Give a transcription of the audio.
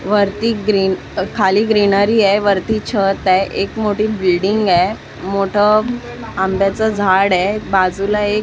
वरती ग्रीन अ खाली ग्रीनरी आहे वरती छत आहे एक मोठी बिल्डींग आहे मोठं अंब्याचं झाड आहे बाजूला एक --